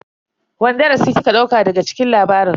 Wani darasi kika dauka daga cikin labarin?